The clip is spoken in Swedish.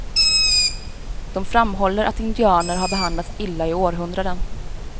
De framhåller att indianer har behandlats illa i århundraden.